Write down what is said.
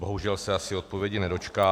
Bohužel se asi odpovědi nedočkám...